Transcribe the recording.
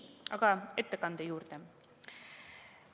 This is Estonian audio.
Aga ettekande juurde.